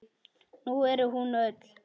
Nú er hún öll.